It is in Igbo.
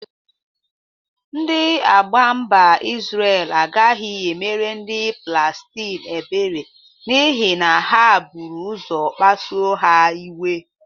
Ndị agha mba Izre agagị emere ndị Palestin ebere n'ihi na ha bụru ụzọ kpasue ha iwe.